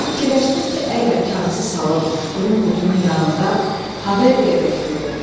Fikirləşdim ki, əgər kağızı salım, durum qutunun yanında ha və deyəcək durum.